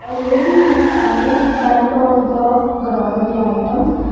a lady is standing front of the grocery items.